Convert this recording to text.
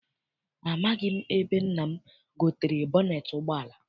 Amaghị m ebe nna m gotere bọneet ụgbọala.